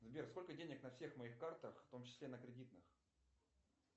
сбер сколько денег на всех моих картах в том числе на кредитных